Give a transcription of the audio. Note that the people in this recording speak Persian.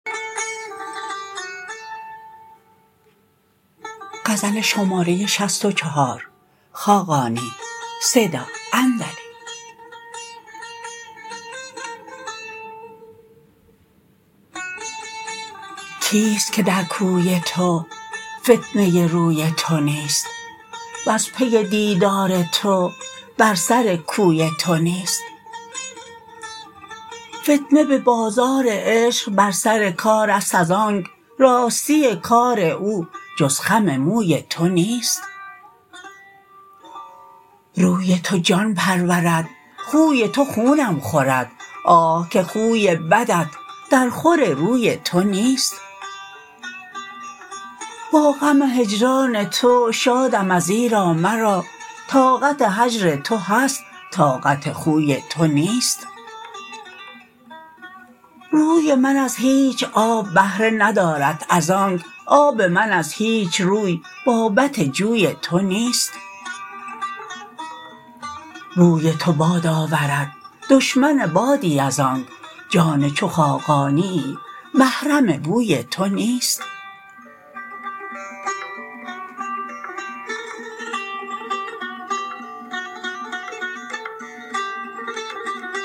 کیست که در کوی تو فتنه روی تو نیست وز پی دیدار تو بر سر کوی تو نیست فتنه به بازار عشق بر سر کار است از آنک راستی کار او جز خم موی تو نیست روی تو جان پرورد خوی تو خونم خورد آه که خوی بدت در خور روی تو نیست با غم هجران تو شادم ازیرا مرا طاقت هجر تو هست طاقت خوی تو نیست روی من از هیچ آب بهره ندارد از آنک آب من از هیچ روی بابت جوی تو نیست بوی تو باد آورد دشمن بادی از آنک جان چو خاقانیی محرم بوی تو نیست